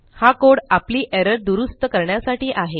हा कोड आपली एरर दुरूस्त करण्यासाठी आहे